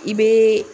I bɛ